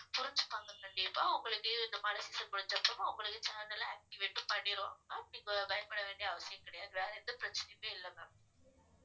புரிஞ்சுப்பாங்க கண்டிப்பா உங்களுக்கு இந்த மழை season முடிச்ச அப்புறம் உங்களுக்கு channel அ activate பண்ணிருவாங்க ma'am நீங்க பயப்பட வேண்டிய அவசியம் கிடையாது வேற எந்த பிரச்சனையுமே இல்ல ma'am